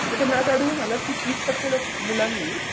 तर त्यांना असं आढळून आलं की तीस टक्के मुलांनी